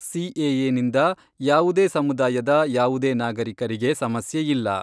ಸಿಎಎನಿಂದ ಯಾವುದೇ ಸಮುದಾಯದ ಯಾವುದೇ ನಾಗರಿಕರಿಗೆ ಸಮಸ್ಯೆ ಇಲ್ಲ.